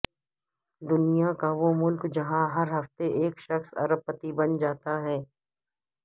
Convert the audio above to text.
دنیاکاوہ ملک جہاں ہرہفتے ایک شخص ارب پتی بن جاتاہے